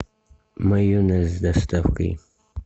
майонез с доставкой